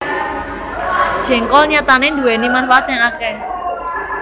Jéngkol nyatané nduwèni manfaat sing akèh